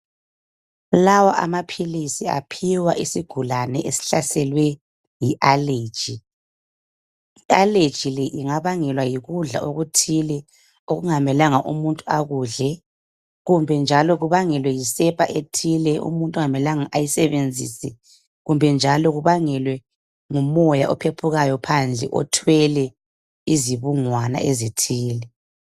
Lawa amaphilisi aphiwa isigulane esihlaselwe yi allergy. I-allergy le ingabangelwa yikudla okuthile okungamelanga umuntu akudle kumbe yisepa ethile omuntu okungamelanga ayisebenzise. Kumbe njalo ibangelwe ngumoya ophephuka phandle othwele izibungwana ezithile.